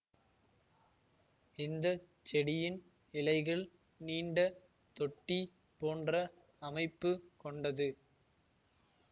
இந்த செடியின் இலைகள் நீண்ட தொட்டி போன்ற அமைப்பு கொண்டது